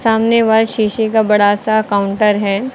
सामने व शीशे का बड़ा सा काउंटर है।